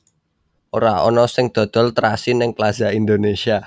Ora ono sing dodol trasi ning Plaza Indonesia